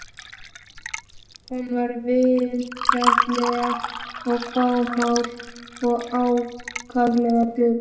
Hún var vingjarnleg en fámál og ákaflega döpur.